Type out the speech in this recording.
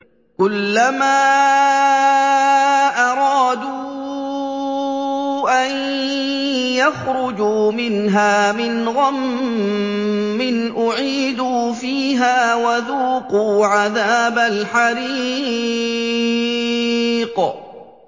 كُلَّمَا أَرَادُوا أَن يَخْرُجُوا مِنْهَا مِنْ غَمٍّ أُعِيدُوا فِيهَا وَذُوقُوا عَذَابَ الْحَرِيقِ